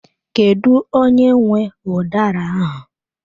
Kedu onye nwe udara ahụ?